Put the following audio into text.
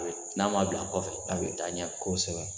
N'a m'a bila a kɔfɛ a bɛ taa ɲɛfɛ kosɛbɛ